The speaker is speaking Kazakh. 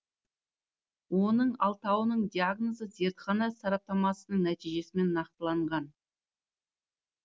оның алтауының диагнозы зертхана сараптамасының нәтижесімен нақтыланған